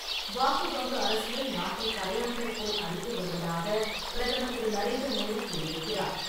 வாக்கு வங்கி அரசியல் நாட்டை கரையான்கள் போல் அரித்து வருவதாக பிரதமர் திரு. நரேந்திர மோடி கூறியிருக்கிறார்.